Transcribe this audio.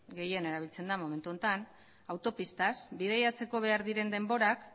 gehien erabiltzen da momentu honetan autopistaz bidaiatzeko behar diren denborak